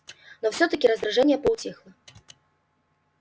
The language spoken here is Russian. но всё-таки раздражение поутихло